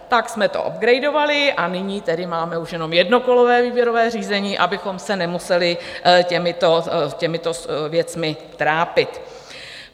Tak jsme to upgradovali, a nyní tedy máme už jen jednokolové výběrové řízení, abychom se nemuseli těmito věcmi trápit."